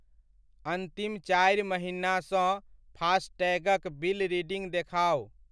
अन्तिम चारि महिनासँ फास्टैगक बिल रीडिंग देखाउ।